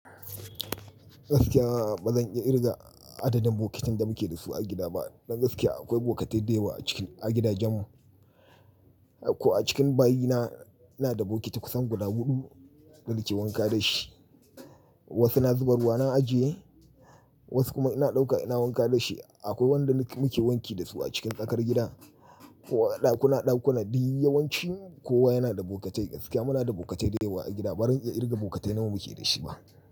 Gaskiya ba zan iya irga adadin bokatan da muke da su a gida ba. Don gaskiya akwai bokatai dayawa a cikin a gidajen mu. Ko a cikin bayi na, ina da bokiti kusan guda huɗu da na ke wanka da shi. Wasu na zuba ruwa na ajiye, wasu kuma ina ɗauka ina wanka da shi. Akwai wanda muke wanki da su a cikin tsakar gida ko a ɗakuna ɗakuna. Dii yawanci kowa yana da bokatai. Gaskiya muna da bokatai dayawa a gida. Ba zan iya irga bokatai nawa muke da shi ba.